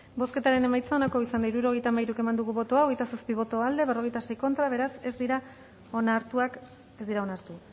bozketaren emaitza onako izan da hirurogeita hamairu eman dugu bozka hogeita zazpi boto aldekoa cuarenta y seis contra beraz ez dira onartu